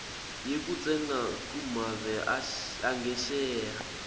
yekutsenga kumave angesheya